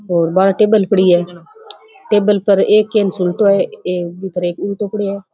और बारे टेबल पड़ी है टेबल पर एक केन सुल्टो है एक बी पर उल्टो पड़ियो है।